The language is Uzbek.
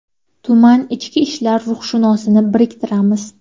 Tuman ichki ishlar ruhshunosini biriktiramiz.